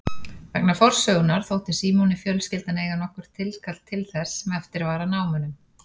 Vegna forsögunnar þótti Símoni fjölskyldan eiga nokkurt tilkall til þess sem eftir var af námunum.